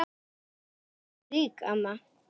Mikið varstu rík amma.